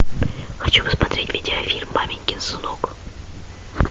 хочу посмотреть видеофильм маменькин сынок